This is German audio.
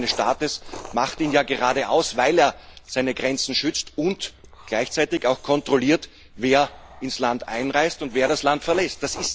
Das Wesen eines Staates macht ja gerade aus, dass er seine Grenzen schützt und gleichzeitig auch kontrolliert, wer ins Land einreist und wer das Land verlässt.